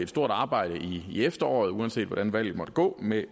stort arbejde i efteråret uanset hvordan valget måtte gå med